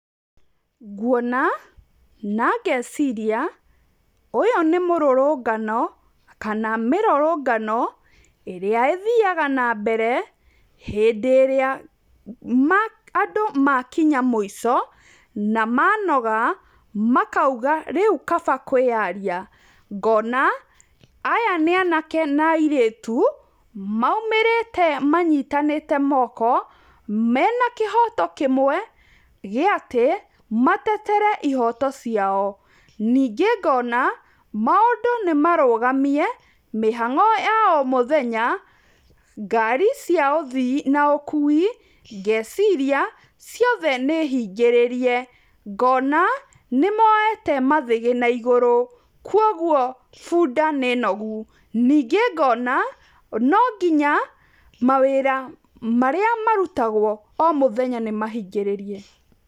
Nguona na ngeciria ũyũ nĩ mũrũrũngano kana mĩrũrũngano ĩrĩa ĩthiaga nambere hĩndĩ ĩrĩa andũ makinya mũico na manoga makauga rĩu kaba kwĩyaria, ngona aya nĩ anake na airĩtu maumĩrĩte manyitanĩte moko mena kĩhoto kĩmwe gĩ atĩ, matetere ihoto ciao. Ningĩ ngona maũndũ nĩmarũgamie, mĩhang'o ya o mũthenya, ngari cia ũthii na ũkui ngeciria ciothe nĩ hingĩrĩrie, ngona nĩ moyete mathĩgĩ na igũrũ, kwoguo bunda nĩ nogu. Ningĩ ngona no nginya, mawĩra marĩa marutagwo o mũthenya nĩ mahingĩrĩrie.